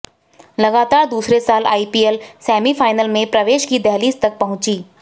लगातार दूसरे साल आईपीएल सेमीफाइनल में प्रवेश की दहलीज तक पहुंची